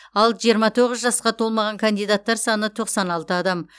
ал жиырма тоғыз жасқа толмаған кандидаттар саны тоқсан алты адам